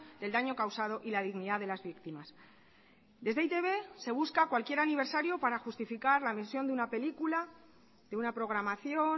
del daño causado y la dignidad de las víctimas desde e i te be se busca cualquier aniversario para justificar la misión de una película de una programación